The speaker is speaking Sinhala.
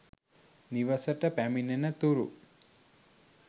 නිවෙසට පැමිණෙනතුරු